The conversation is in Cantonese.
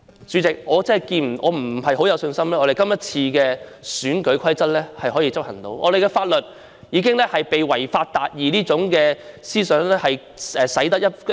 主席，對於我們今次能否執行選舉法例，我沒有多大信心，因為我們的法律已被"違法達義"這種思想徹底影響，大家根本不再......